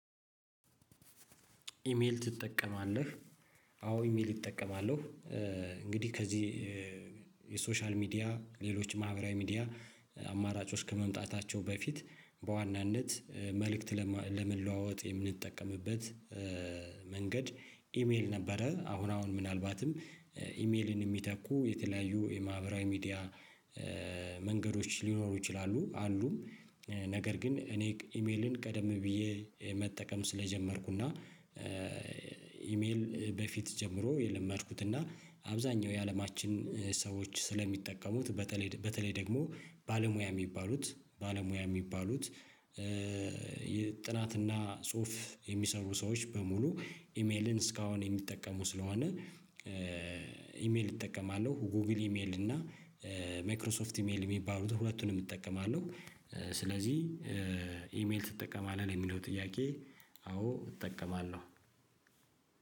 ኢሜል ትጠቀማለህ? አዎ ኢሜል እጠቀማለሁ። እንግዲህ ከዚህ የሶሻል ሚዲያ ሌሎች ማህበራዊ ሚዲያ አማራጮች ከመምጣታቸው በፊት በዋናነት መልእክት ለመለዋወጥ የምንጠቀምበት መንገድ ኢሜል ነበረ። አሁን አሁን ምናልባትም ኢሜልን የሚተኩ የተለያዩ የማህበራዊ ሚዲያ መንገዶች ሊኖሩ ይችላሉ። አሉም ነገር ግን እኔ ኢሜልን ቀደም ብዬ መጠቀም ስለጀመርኩ እና ኢሜል በፊት ጀምሮ የለመድኩት እና አብዛኛው የአለማችን ሰዎች ስለሚጠቀሙት በተለይ በተለይ ደግሞ ባለሙያ የሚባሉት ባለሙያ የሚባሉት። ጥናት እና ጽሁፍ የሚሰሩ ሰዎች በሙሉ ኢሜልን እስካሁን የሚጠቀሙ ስለሆነ ኢሜል እጠቀማለሁ። ጎግል ኢሜል እና ማይክሮሶፍት ኢሜል የሚባሉትን ሁለቱንም እጠቀማለሁ። ስለዚህ ኢሜል ትጠቀማለህ? ለሚለው ጥያቄ አዎ እጠቀማለሁ።